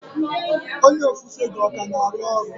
Onye ofufe gị ọ ka na-arụ ọrụ?